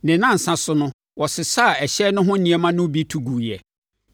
Ne nnansa so no, wɔsesaa ɛhyɛn no ho nneɛma no bi to guiɛ.